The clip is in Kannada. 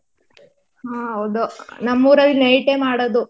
ಹ್ಮ್ ಹೌದು ನಮ್ ಊರಲ್ಲೂ night ಮಾಡೋದು.